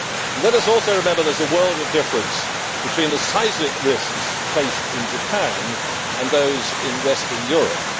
Let us also remember that there is a world of difference between the seismic risks faced in Japan and those in Western Europe.